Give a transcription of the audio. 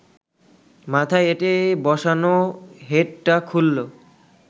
মাথায় এঁটে বসানো হ্যাটটা খুলল